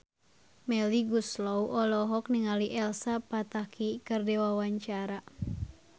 Melly Goeslaw olohok ningali Elsa Pataky keur diwawancara